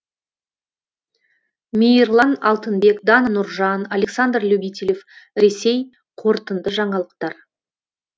мейірлан алтынбек дана нұржан александр любителев ресей қорытынды жаңалықтар